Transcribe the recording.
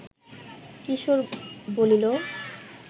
কিশোর বলিল